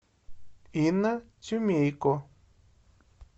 инна тюмейко